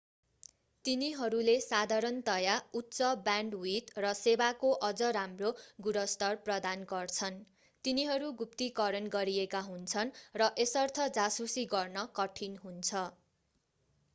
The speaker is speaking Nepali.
तिनीहरूले साधारणतयाः उच्च ब्यान्डविथ र सेवाको अझ राम्रो गुणस्तर प्रदान गर्छन् तिनीहरू गुप्तीकरण गरिएका हुन्छन् र यसर्थ जासुसी गर्न कठिन हुन्छ